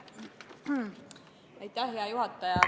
Aitäh, hea juhataja!